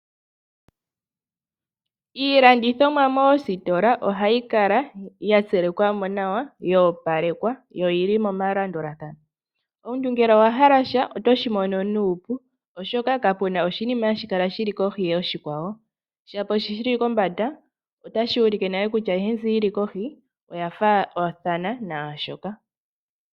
Iilandithomwa moositola ohayi kala mo yatsilikwa yoopalekwa yo oyili melandulathano. Omuntu ngele owa hala sha otoshi mono nuupu oshoka kapena oshinima shi li kohi yoshikwawo. Shono shili kombanda otashi ulike nale kutya ayihe mbi yili kohi oya faathana naashoka.